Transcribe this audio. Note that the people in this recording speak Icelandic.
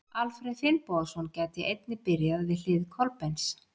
Alfreð Finnbogason gæti einnig byrjað við hlið Kolbeins.